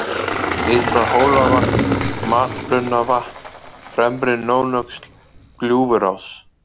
Ytra-Hólavatn, Matbrunnavatn, Fremri-Nónöxl, Gljúfurás